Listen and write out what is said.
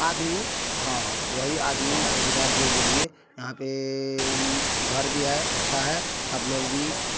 आदमी हां वोही आदमी जोगीदार जो बोलिए यहाँ पे घर भी हैअच्छा है आप लोग भी| --